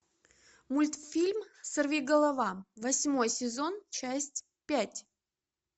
мультфильм сорвиголова восьмой сезон часть пять